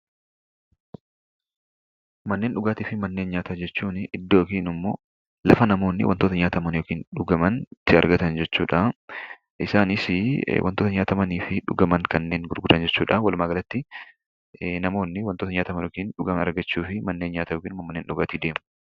Manneen dhugaatiifi mannen nyaataa jechuun iddoo yookiinimmoo lafa namoonni wantoota nyaataman yookaan dhugaman itti argatan jechuudha. Isaanis wantoota nyaatamaniifi dhugaman kanneen gurguran jechuudha. Walumaa galatti namoonni wantoota nyaataman yookiin dhugaman argachuufi manneen nyaataaf dhugaatii deemuu.